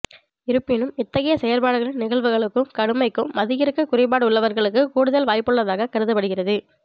இருப்பினும் இத்தகைய செயற்பாடுகளின் நிகழ்வுகளுக்கும் கடுமைக்கும் மதியிறுக்க குறைபாடுள்ளவர்களுக்கு கூடுதல் வாய்ப்புள்ளதாகக் கருதப்படுகிறது